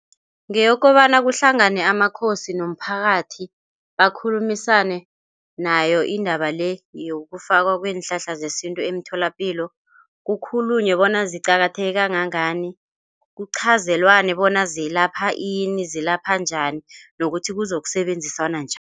Ngeyokobana kuhlangane amakhosi nomphakathi bakhulumisane nayo indaba le, yokufakwa kweenhlahla zesintu emtholapilo kukhulunywe bona ziqakatheke kangangani. Kuqhazelwane bona zilapha ini, zilapha njani nokuthi kuzokusebenziswana njani.